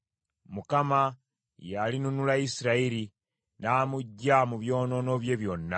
Mukama y’alinunula Isirayiri n’amuggya mu byonoono bye byonna.